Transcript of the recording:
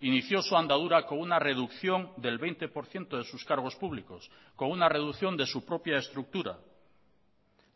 inició su andadura con una reducción del veinte por ciento de sus cargos públicos con una reducción de su propia estructura